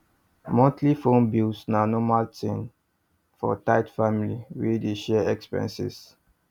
monthly phone bills na normal thing for tight family wey dey share expenses